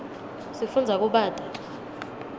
sifundza kubata